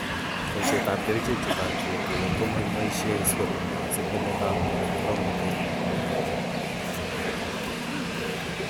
Boishietab kerichek che toreti etunet ko makiboishe si ko meto koromnatet.